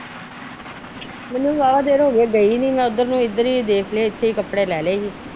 ਮੈਨੂੰ ਵੀ ਵਾਹਵਾ ਦੇਰ ਹੋਗੀ ਗਈ ਨੀ ਮੈ ਉਧਰ ਨੂੰ ਇਧਰ ਹੀ ਦੇਖਲੇ ਇਥੇ ਕੱਪੜੇ ਲੈੇਲੇ ਹੀ।